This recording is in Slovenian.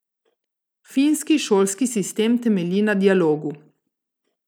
Finski šolski sistem temelji na dialogu.